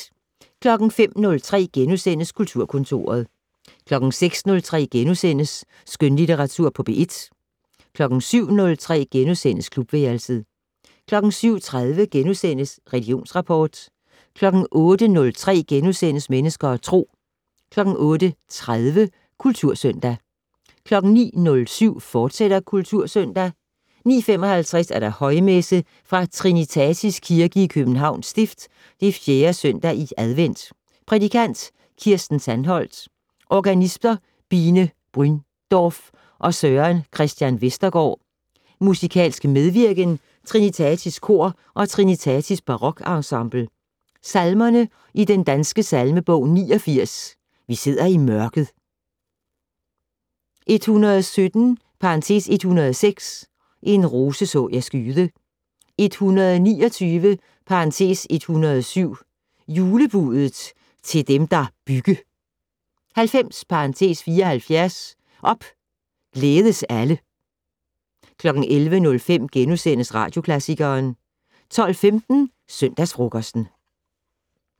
05:03: Kulturkontoret * 06:03: Skønlitteratur på P1 * 07:03: Klubværelset * 07:30: Religionsrapport * 08:03: Mennesker og Tro * 08:30: Kultursøndag 09:07: Kultursøndag, fortsat 09:55: Højmesse - Trinitatis Kirke, Københavns Stift. 4. søndag i advent. Prædikant: Kirsten Sandholdt. Organister: Bine Bryndorf og Søren Christian Vestergård. Musikalsk medvirken: Trinitatis Kor og Trinitatis Barokensemble. Salmer i Den Danske Salmebog: 89 "Vi sidder i mørket". 117 (106) "En rose så jeg skyde". 129 (107) "Julebudet til dem, der bygge". 90 (74) "Op, glædes alle". 11:05: Radioklassikeren * 12:15: Søndagsfrokosten